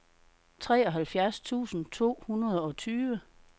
treoghalvfjerds tusind to hundrede og tyve